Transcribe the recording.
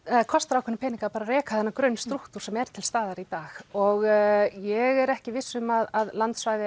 kosta ákveðna peninga bara að reka þennan grunn strúktúr sem er til staðar í dag og ég er ekki viss um að landsvæði